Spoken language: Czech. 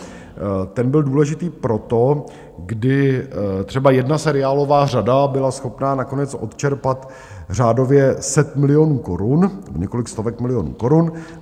Ten byl důležitý proto, kdy třeba jedna seriálová řada byla schopná nakonec odčerpat řádově set milionů korun, několik stovek milionů korun.